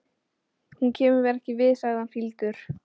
Hún kemur mér ekki við, sagði hann fýldur.